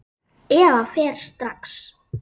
Eva fer strax.